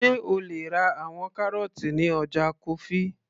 sé o lè ra àwọn kárọ́ọ́tì ní ọjà kofi